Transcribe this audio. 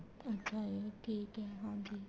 ਅੱਛਾ ਜੀ ਠੀਕ ਏ ਹਾਂਜੀ